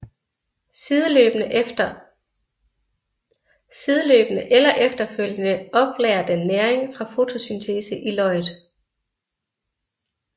Sideløbende eller efterfølgende oplagrer den næring fra fotosyntese i løget